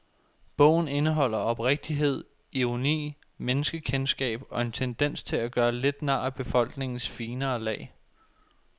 Bogen indeholder oprigtighed, ironi, menneskekendskab og en tendens til at gøre lidt nar af befolkningens finere lag.